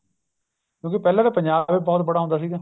ਕਿਉਂਕਿ ਪਹਿਲਾਂ ਤਾਂ ਪੰਜਾਬ ਵੀ ਬਹੁਤ ਬੜਾ ਹੁੰਦਾ ਸੀਗਾ